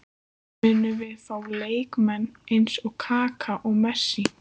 Munum við fá leikmenn eins og Kaka og Messi?